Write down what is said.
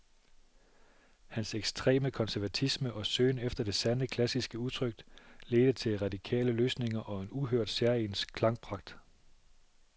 Hans ekstreme konservatisme og søgen efter det sande, klassiske udtryk ledte til radikale løsninger og en uhørt, særegen klangpragt.